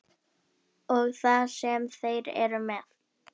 Vökul augu á hverri hreyfingu í stofunni.